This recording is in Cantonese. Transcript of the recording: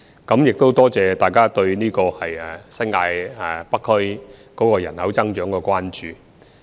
我多謝大家對新界北區人口增長的關注。